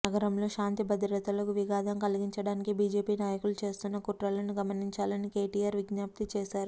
నగరంలో శాంతి భద్రతలకు విఘాతం కలిగించడానికి బీజేపీ నాయకులు చేస్తున్న కుట్రలను గమనించాలని కేటీఆర్ విజ్ఞప్తి చేశారు